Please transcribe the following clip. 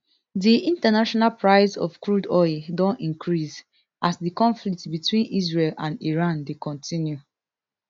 di international price of crude oil don increase as di conflict between israel and iran dey continue